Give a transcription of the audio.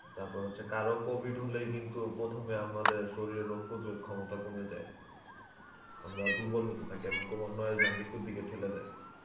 তারপর হচ্ছে কারো COVID হলেই কিন্তু প্রথমে আমাদের শরীরে রোগ প্রতিরোধ ক্ষমতা কমে যায় আমরা দুর্বল হতে থাকি এবং ক্রমান্বয়ে যা মৃত্যুর দিকে ঠেলে দেয়.